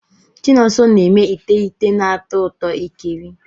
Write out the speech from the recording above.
Chinonso na-eme ite ite na-atọ ụtọ ikiri.